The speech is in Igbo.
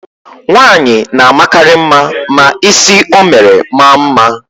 Nwaanyị na-amakarị mma ma ísí o mere maa mma.